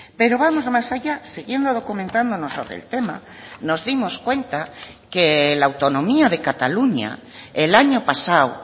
pero vamos más allá siguiendo documentándonos sobre el tema nos dimos cuenta que la autonomía de cataluña el año pasado